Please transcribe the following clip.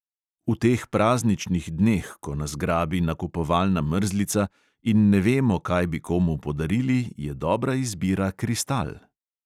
V teh prazničnih dneh, ko nas grabi nakupovalna mrzlica in ne vemo, kaj bi komu podarili, je dobra izbira kristal.